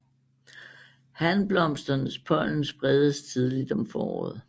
Hanblomsternes pollen spredes tidligt om foråret